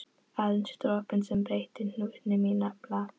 Aðeins dropinn sem breytti hnútnum í nafla.